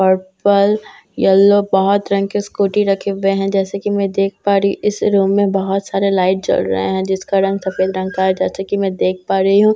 Purple yellow बहुत रंग के स्कूटी रखे हुए हैं जैसे कि मैं देख पा रही हूं इस रूम में बहुत सारे लाइट जल रहे हैं जिसका रंग सफेद रंग का है जैसे कि मैं देख पा रही हूं।